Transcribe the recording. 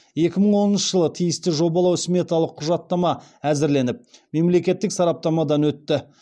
екі мың оныншы жылы тиісті жобалау сметалық құжаттама әзірленіп мемлекеттік сараптамадан өтті